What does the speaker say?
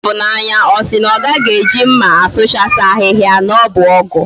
Ifunanya osi na ogaghi eji mma asuchasi ahiahia? na obu ogu?